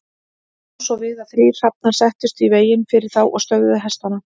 Þá brá svo við að þrír hrafnar settust í veginn fyrir þá og stöðvuðu hestana.